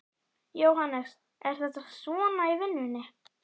Jóhannes: Er þetta svona í vinnunni?